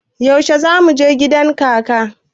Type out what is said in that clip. Yaushe za mu je gidan kaka?